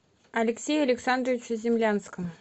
алексею александровичу землянскому